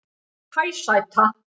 Hæ sæta